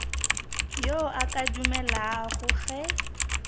yo a ka dumelago ge